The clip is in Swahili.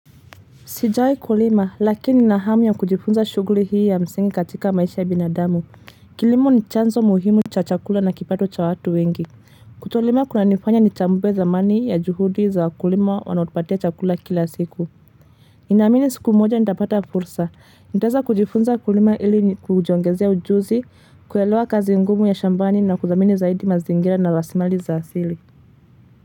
Sijai kulima lakini na hamu ya kujifunza shuguli hii ya msingi katika maisha ya binadamu, kilimo ni chanzo muhimu cha chakula na kipato cha watu wengi, kutolima kuna nifanya ni chambue zamani ya juhudi za kulima wanaotupatia chakula kila siku ninaamini siku moja nitapata fursa, nitaweza kujifunza kulima ili kujongezea ujuzi, kuyalewa kazi ngumu ya shambani na kuzamini zaidi mazingira na rasimali za asili.